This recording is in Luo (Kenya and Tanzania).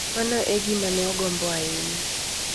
Mano e gima ne ogombo ahinya.